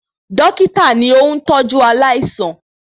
Dọ́kítà ni óún tọ́jú aláìsàn